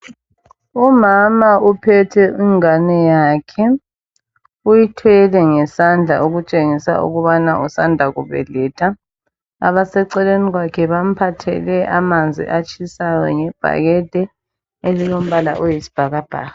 Umama uphethe ingane yakhe, uyithwele ngesandla okutshengisa ukubana usanda kubeletha. Abaseceleni kwakhe bamphathele amanzi atshisayo ngebhakede, elilombala oyisibhakabhaka.